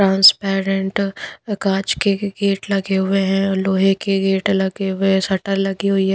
Transparent काँच के gate लगे हुए हैं लोहे के गेट लगे हुए हैं शटर लगी हुई है।